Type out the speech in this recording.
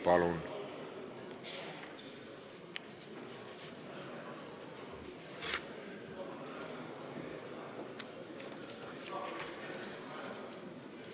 Palun!